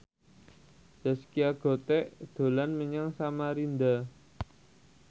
Zaskia Gotik dolan menyang Samarinda